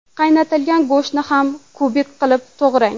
Qaynatilgan go‘shtni ham kubik qilib to‘g‘rang.